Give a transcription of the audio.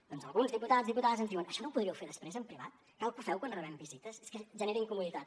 doncs alguns diputats i diputades ens diuen això no ho podríeu fer després en privat cal que ho feu quan rebem visites és que genera incomoditat